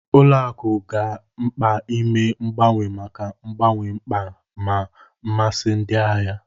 Ụlọ akụ ga-mkpa ime mgbanwe maka mgbanwe mkpa na mmasị ndị ahịa.